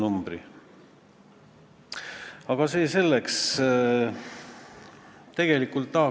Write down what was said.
Kui ma oleksin praegu teie ees eelnõuga, mille eesmärk oleks trahve kümme korda suurendada, siis saaks mulle selliseid süüdistusi esitada.